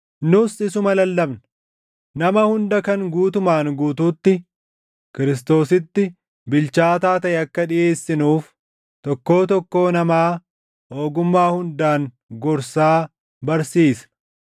Nus isuma lallabna; nama hunda kan guutumaan guutuutti Kiristoositti bilchaataa taʼe akka dhiʼeessinuuf, tokkoo tokkoo namaa ogummaa hundaan gorsaa barsiisna.